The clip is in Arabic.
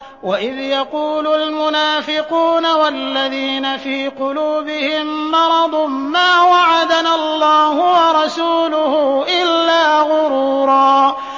وَإِذْ يَقُولُ الْمُنَافِقُونَ وَالَّذِينَ فِي قُلُوبِهِم مَّرَضٌ مَّا وَعَدَنَا اللَّهُ وَرَسُولُهُ إِلَّا غُرُورًا